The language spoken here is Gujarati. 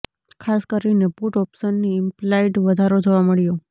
ખાસ કરીને પુટ ઓપ્શનની ઇમ્પ્લાઇડ વધારો જોવા મળ્યો